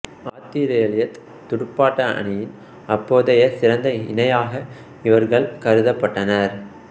ஆத்திரேலியத் துடுப்பாட்ட அணியின் அப்போதைய சிறந்த இணையாக இவர்கள் கருதப்பட்டனர்